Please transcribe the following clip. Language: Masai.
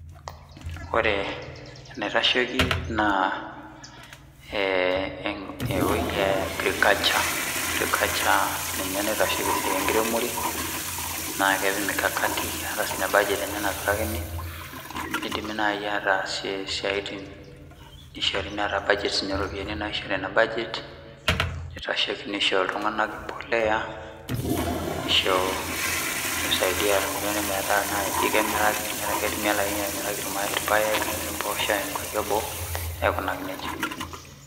Ore enaitashoki naa ewueji e agriculture, agriculture ninye naitasheki esiai enkiremore, naa kepik mikakati, eeta sii ninye budget enye, naapikakini, nidimie naaji ataasie isiatin, nishori taata budget niso sii ninye iropiyiani, nitashekio, nisho iltunganak empuliya, nisho idea metaa kemiraki ilpaek, impoosho aaya nkuapi eboo, aikunaki nejia.